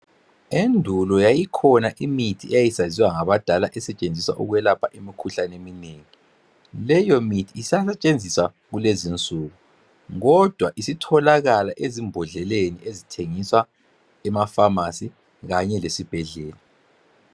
Endulo yayikhona imithi eyayisaziwa ngabadala esetshenziswa ukwelapha imikhuhlane eminengi. Leyo mithi isasetshenziswa kulezinsuku kodwa isitholakala ezimbodleleni ezithengiswa emapharmacy kanye lesibhedlela.